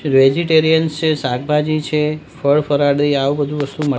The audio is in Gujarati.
વેજિટેરિયન છે શાકભાજી છે ફળ ફરાળી આવુ બધુ વસ્તુ મડ--